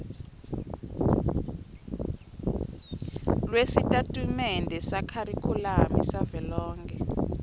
lwesitatimende sekharikhulamu savelonkhe